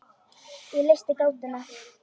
Ég leysti gátuna.